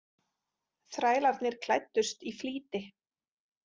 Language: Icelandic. Þrælarnir klæddust í flýti.